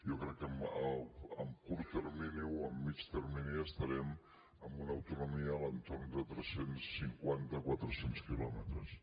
jo crec que a curt termini o a mitjà termini estarem en una autonomia a l’entorn de tres cents i cinquantaquatre cents quilòmetres